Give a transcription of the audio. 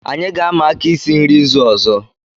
Anyị ga-ama aka isi nri izu ọzọ